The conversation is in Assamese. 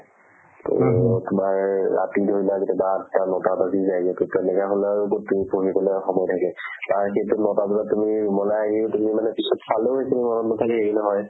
to তোমাৰ ৰাতি হৈ যায় কেতিয়াবা আঠটা-নটা বাজি যায় এনেকে তেনেকুৱাহ'লে আৰু ক'ত তুমি পঢ়িবলৈ সময় থাকে তাৰপিছত নটা বজাত তুমি room লে আহি তুমি মানে পিছত চালেও একো মনত নাথাকে সেইখিনি সময়ত